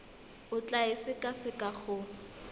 o tla e sekaseka go